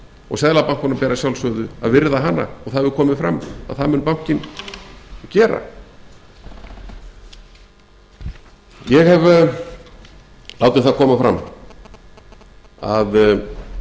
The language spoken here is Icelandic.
og seðlabankanum ber að sjálfsögðu að virða hana og það hefur komið fram að það mun bankinn gera ég hef látið það koma fram að